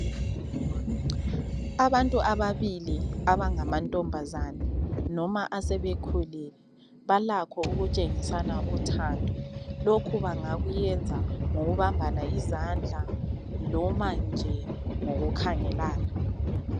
Abantu ababili abangamantomabazane noma asebekhulile balakho ukutshengisalana uthando lokhu bangakuyenza ngokubambana izandla noma nje ngokukhangelana